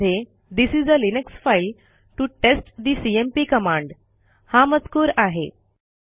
त्यामध्ये this is a Linux file to test the CMP command हा मजकूर आहे